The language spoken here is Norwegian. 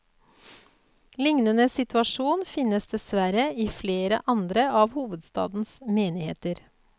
Lignende situasjon finnes dessverre i flere andre av hovedstadens menigheter.